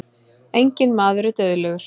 enginn maður er dauðlegur